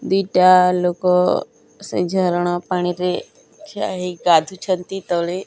ଦି ଟା ଲୋକ ସେ ଝରଣା ପାଣି ରେ ଠିଆ ହୋଇ ଗାଧୁ ଛନ୍ତି ତଳେ।